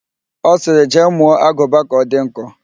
Ọ sịrị, jee mụọ aguba gị ka ọ dị nkọ!